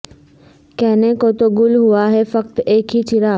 کہنے کو تو گل ہوا ہے فقط ایک ہی چراغ